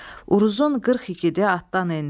Uruzun qırx igidi atdan endi.